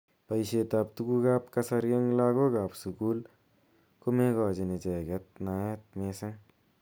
Boishet ab tukuk ab kasari eng lakok ab sukul komekochin icheket naet mising.